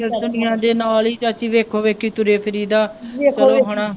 ਇਸ ਦੁਨੀਆਂ ਦੇ ਨਾਲ ਹੀ ਚਾਚੀ ਵੇਖੋ ਵੇਖੀ ਤੁਰੇ ਫਿਰੀ ਦਾ ਹੁਣ